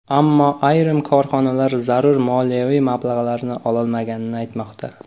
Ammo ayrim korxonalar zarur moliyaviy mablag‘larni ololmaganini aytmoqda.